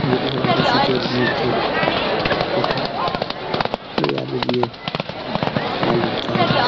যেটি সাধারণত শীতের মধ্যে ওঠে এই আলু দিয়ে আলুরদম--